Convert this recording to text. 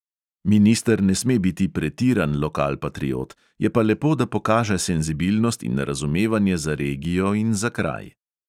Minister ne sme biti pretiran lokalpatriot, je pa lepo, da pokaže senzibilnost in razumevanje za regijo in za kraj.